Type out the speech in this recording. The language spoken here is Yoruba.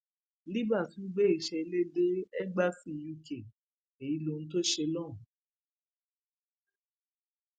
libre tún gbé iṣẹ ilé dé égbási uk èyí lohun tó ṣe lóhùn